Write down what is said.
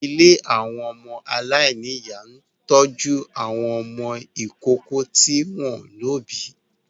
Ilé àwọn ọmọ aláìníyà ń tọ́jú àwọn ọmọ ìkókó tí wọ́n ò lóbìí